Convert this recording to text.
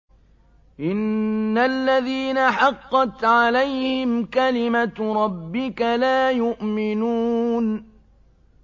إِنَّ الَّذِينَ حَقَّتْ عَلَيْهِمْ كَلِمَتُ رَبِّكَ لَا يُؤْمِنُونَ